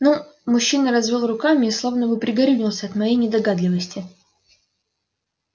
ну мужчина развёл руками и словно бы пригорюнился от моей недогадливости